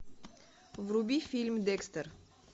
вруби фильм декстер